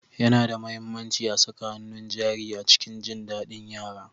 Yana da mahimmanci a saka hannun jari a cikin jin daɗin yara.